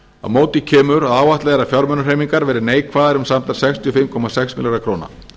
á móti kemur að áætlað er að fjármunahreyfingar verði neikvæðar um samtals sextíu og fimm komma sex milljarða króna